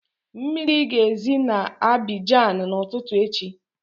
Mmiri ga-ezi na Abịjan na ụtụtụ echi